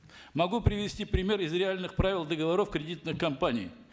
могу привести пример из реальных правил договоров кредитных компаний